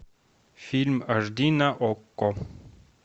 фильм аш ди на окко